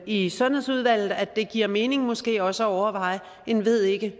i sundhedsudvalget at det giver mening måske også at overveje et ved ikke